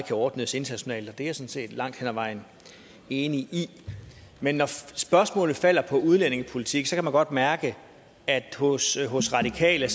kan ordnes internationalt og det er set langt hen ad vejen enig i men når spørgsmålet falder på udlændingepolitik kan man godt mærke at hos at hos radikale